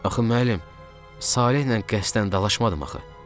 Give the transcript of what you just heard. Axı müəllim, Salehlə qəsdən dalaşmadım axı.